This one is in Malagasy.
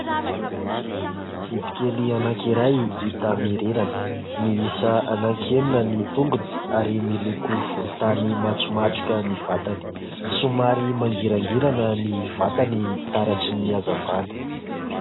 Biby kely anankiray hita mirirana, miisa anankenina ny tongony ary miloko volontany matromatroka ny vatany, somary mangirangirana ny vatany taratry ny hazavana.